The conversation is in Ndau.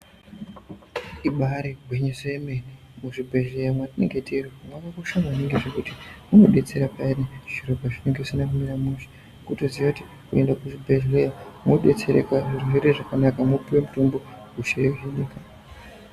Ibaari gwinyiso yemene muzvibhedhlera mwatinenge tiri mwakakosha maningi zvekuti unodetsera payani zviro pazvinenge zvisina kumira mushe. kutoziye kuti ukaenda kuzvibhedhlera wodetsereka zviro zvoite zvakanaka mwopiwe mitombo hosha yohinika.